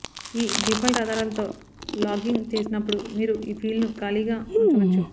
ఈ డిఫాల్ట్ ఆధారాలతో లాగింగ్ చేసినప్పుడు మీరు ఆ ఫీల్డ్ను ఖాళీగా ఉంచవచ్చు